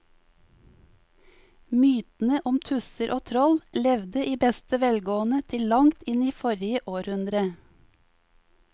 Mytene om tusser og troll levde i beste velgående til langt inn i forrige århundre.